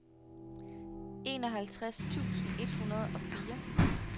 enoghalvtreds tusind et hundrede og fire